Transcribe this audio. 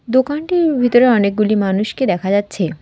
দোকানটির ভিতরে অনেকগুলি মানুষকে দেখা যাচ্ছে।